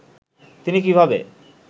তিনি কীভাবে